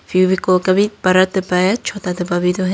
फेविकोल का भी बड़ा डब्बा है छोटा डब्बा भी तो है।